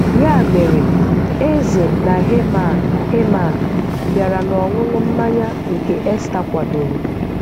Ya mere, eze na Heman Heman bịara n’ọṅụṅụ mmanya nke Esta kwàdòrò.